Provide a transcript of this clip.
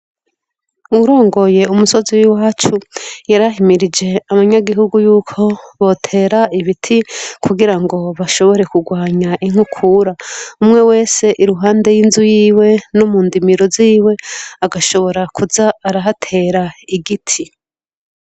Wurongoye umusozi w'i wacu yarahimirije amanyagihugu yuko botera ibiti kugira ngo bashobore kurwanya inkukura umwe wese iruhande y'inzu yiwe no mu ndimiro ziwe agashobora kuza arahatera igiti.